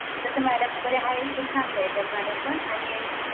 तसं मॅडम पण हाय मॅडमपण आणि